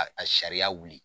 A a sariya wuli